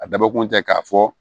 A dabɔkun tɛ k'a fɔ